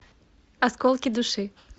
осколки души